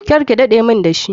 Karke dade mun dashi.